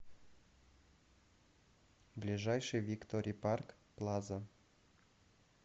ближайший виктори парк плаза